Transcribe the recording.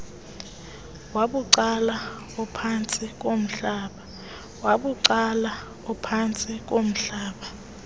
wabucala ophantsi komhlaba